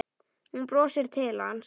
Hún brosir til hans.